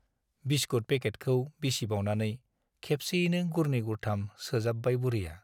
Biscuit पेकेटखौ बिसिबावनानै खेबसेयैनो गुरनै गुरथाम सोजाबबाय बुरैया ।